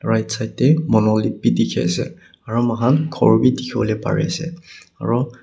right side deh monolith bi dikhi ase aro muihan ghor bi dikhiwole pari ase aro.